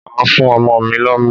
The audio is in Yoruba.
Màá fún ọmọ mi lọ́mú.